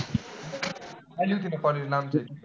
आली होती ना college ला आमच्या.